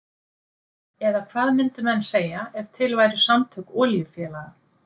Eða hvað myndu menn segja ef til væru samtök olíufélaga?